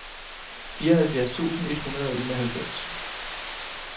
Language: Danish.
fireoghalvfjerds tusind et hundrede og enoghalvfems